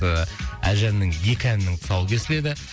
ыыы әлжанның екі әнінің тұсауы кесіледі